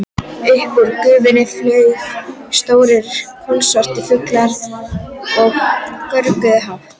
Upp úr gufunni flugu stórir, kolsvartir fuglar og görguðu hátt.